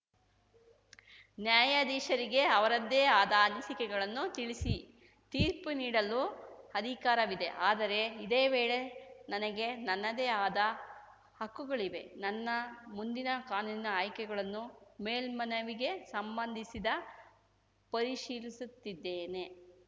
ನ್ಯಾಯಾಧೀಶರಿಗೆ ಅವರದ್ದೇ ಆದ ಅನಿಸಿಕೆಗಳನ್ನು ತಿಳಿಸಿ ತೀರ್ಪು ನೀಡಲು ಅಧಿಕಾರವಿದೆ ಆದರೆ ಇದೇ ವೇಳೆ ನನಗೆ ನನ್ನದೇ ಆದ ಹಕ್ಕುಗಳಿವೆ ನನ್ನ ಮುಂದಿನ ಕಾನೂನಿನ ಆಯ್ಕೆಗಳನ್ನು ಮೇಲ್ಮನವಿಗೆ ಸಂಬಂಧಿಸಿದ ಪರಿಶೀಲಿಸುತ್ತಿದ್ದೇನೆ